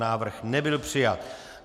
Návrh nebyl přijat.